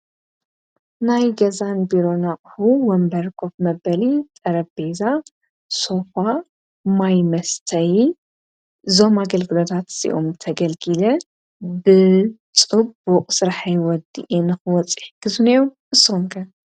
ናይ ገዛን ቢሮn እቁሑ ወንበርን ሶፋን መበሊ ጠረቤዛ ሶፋ ማይመስተይ ዞም ኣገልግሎታት ተገልጊለ ብጽቡቕ ሥርሐይ ወዲኤ ንኽወጽእ ይሕግዙኒዮም ንሰኩም ክ?